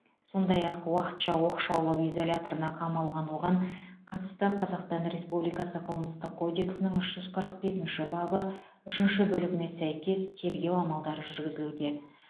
сондай ақ уақытша оқшаулау изоляторына қамалған оған қатысты қазақстан республикасы қылмыстық кодекстің үш жүз қырық бесінші бабы үшінші бөлігіне сәйкес тергеу амалдары жүргізілуде